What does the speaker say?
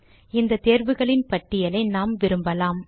இந்த தேர்வுகளின் பட்டியலை நாம் விரும்பலாம்